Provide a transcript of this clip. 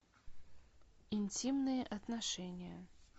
интимные отношения